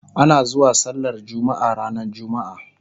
ana zuwa sallar jumma'a ranar jumma'a